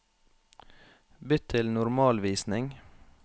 Bytt til normalvisning